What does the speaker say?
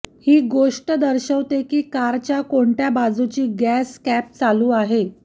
ही गोष्ट दर्शवते की कारच्या कोणत्या बाजूची गॅस कॅप चालू आहे